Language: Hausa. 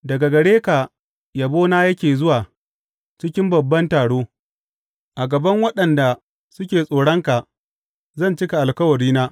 Daga gare ka yabona yake zuwa cikin babban taro; a gaban waɗanda suke tsoronka zan cika alkawarina.